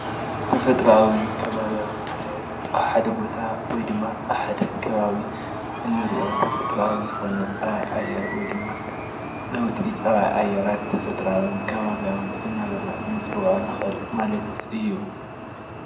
ተፈጥሮኣውን ከባብያውን ማለት ኣብ ሓደ ቦታ ወይድማ ኣብ ሓደ ከባቢ እንሪኦ ተፈጥሮኣዊ ዝኮነ ፀባይ ኣየር ወይድማ ለውጢ ፀባይ ኣየራት ተፈጥሮኣውን ከባብያውን እናበልና ንፅውዖ ንኽእል ማለት እዩ።